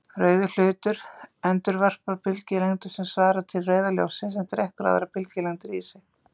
Rauður hlutur endurvarpar bylgjulengdum sem svara til rauða ljóssins en drekkur aðrar bylgjulengdir í sig.